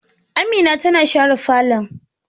Amin tana share falon